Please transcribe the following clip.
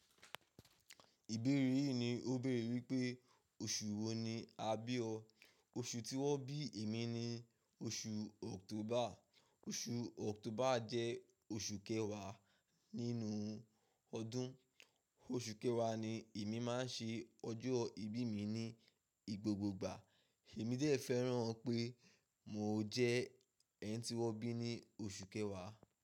Ìbéèrè yìí ni ó béèrè wípé oṣù wo ni a bí ọ? Oṣù tí wón bí èmi ni oṣù October. Oṣù October jẹ́ oṣù kẹwàá nínú ọdún. Oṣù kẹwàá ni èmi máa ń ṣe ọjọ́ ìbí mi ní gbogbogbà. Èmi dẹ̀ fẹ́ràn pé mo jẹ́ ẹni tí wọ́n bí ní oṣù kẹwàá.